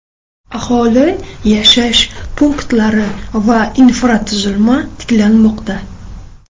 Aholi yashash punktlari va infratuzilma tiklanmoqda.